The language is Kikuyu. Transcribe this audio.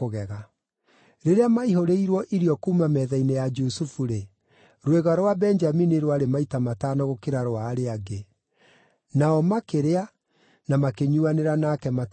Rĩrĩa maihũrĩirwo irio kuuma metha-inĩ ya Jusufu-rĩ, rwĩga rwa Benjamini rwarĩ maita matano gũkĩra rwa arĩa angĩ. Nao makĩrĩa na makĩnyuuanĩra nake mategwĩtigĩra.